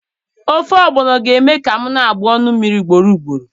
Ofe Ogbono ga-eme ka m na-agbụ ọnụ mmiri ugboro ugboro.